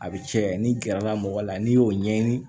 A bɛ cɛ ni gɛrɛla mɔgɔ la n'i y'o ɲɛɲini